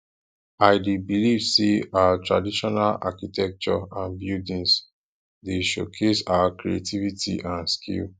i dey believe say our traditional architecture and buildings dey showcase our creativity and skill